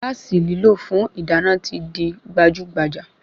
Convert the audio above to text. Gáàsì lílò fún ìdáná ti di gbajúgbajà